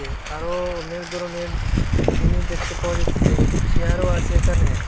আরো অনেক ধরনের জিনিস দেখতে পাওয়া যাইতেসে একটি চিয়ারও আসে একানে।